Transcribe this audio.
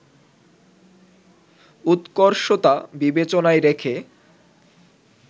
উৎকর্ষতা বিবেচনায় রেখে